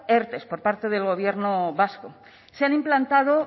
erte por parte del gobierno vasco se han implantado